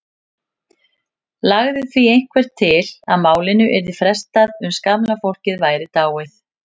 Lagði því einhver til að málinu yrði frestað uns gamla fólkið væri dáið.